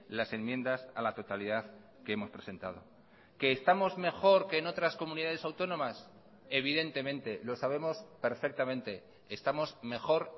las enmiendas a la totalidad que hemos presentado que estamos mejor que en otras comunidades autónomas evidentemente lo sabemos perfectamente estamos mejor